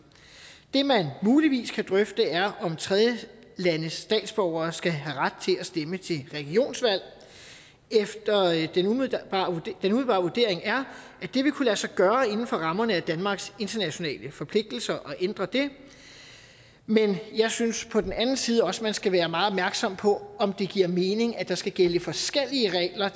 det man muligvis kan drøfte er om tredjelandes statsborgere skal have ret til at stemme til regionsvalg den umiddelbare vurdering er at det vil kunne lade sig gøre inden for rammerne af danmarks internationale forpligtelser at ændre det men jeg synes på den anden side også man skal være meget opmærksom på om det giver mening at der skal gælde forskellige regler